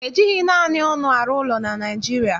E jighị naanị ọnụ arụ ụlọ na Naịjirịa